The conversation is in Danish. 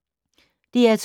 DR2